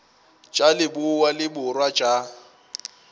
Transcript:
tša leboa le borwa tša